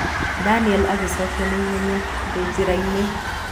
Daniel agĩcokia na ihenya, "Ndĩ njĩra-inĩ".